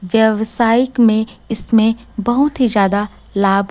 व्यवसायिक में इसमें बहुत ही ज्यादा लाभ--